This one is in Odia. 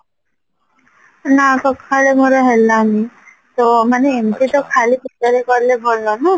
ନାଁ ସଖାଳେ ମୋର ହେଲାନି ତ ମାନେ ଏମିତ ତ ଖାଲି ପେଟରେ କାଲେ ଭଲ ନାଁ